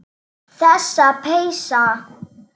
Þessi peysa!